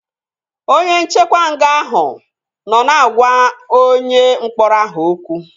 Onye nchekwa nga ahụ nọ na-agwa onye mkpọrọ ahụ okwu